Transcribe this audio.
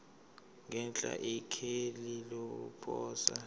ngenhla ikheli lokuposa